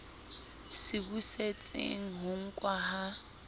se busetseng ho nkwa ha